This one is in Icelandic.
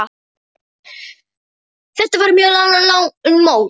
Þetta var mjög langt mót.